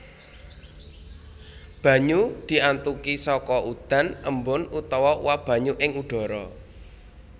Banyu diantuki saka udan embun utawa uap banyu ing udhara